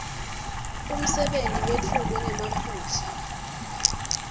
umsebenti wetfulwe ngemaphuzu